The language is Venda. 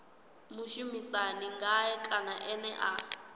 mushumisani ngae kana ene a